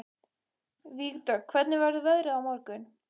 Vígdögg, hvernig verður veðrið á morgun?